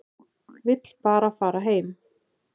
Vill bara fara heim.